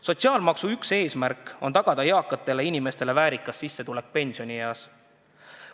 Sotsiaalmaksu üks eesmärk on tagada eakatele inimestele väärikas sissetulek pensionieas.